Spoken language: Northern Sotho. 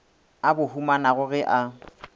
a bo humanago ge a